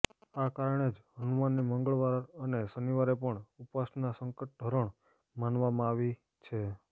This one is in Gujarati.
આ કારણે જ હનુમાનની મંગળવાર અને શનિવારે પણ ઉપાસના સંકટહરણ માનવામાં આવી છે